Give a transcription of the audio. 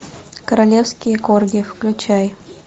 королевские корги включай